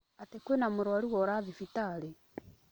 Atĩ kwĩna mũrwaru wora thibitarĩ?